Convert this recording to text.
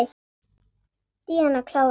Díana klára.